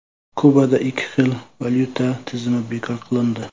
Kubada ikki xil valyuta tizimi bekor qilindi.